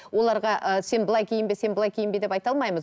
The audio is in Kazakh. оларға ы сен былай киінбе былай киінбе деп айта алмаймыз